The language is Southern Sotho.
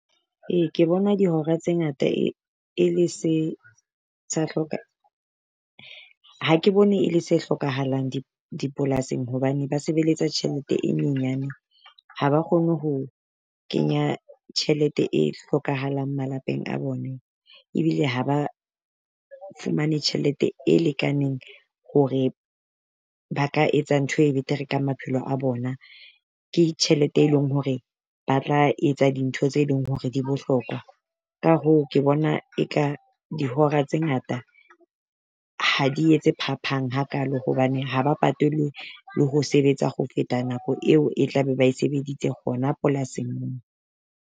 Ee ke bona dihora tse ngata e le se ha ke bone e le se hlokahalang dipolasing hobane ba sebeletsa tjhelete e nyenyane. Ha ba kgone ho kenya tjhelete e hlokahalang malapeng a bone, ebile ha ba fumane tjhelete e lekaneng hore ba ka etsa ntho e betere ka maphelo a bona. Ke tjhelete e leng hore ba tla etsa dintho tse leng hore di bohlokwa. Ka hoo, ke bona e ka dihora tse ngata ha di etse phaphang hakalo hobane ha ba patelwe le ho sebetsa ho feta nako eo e tla be ba e sebeditse hona polasing.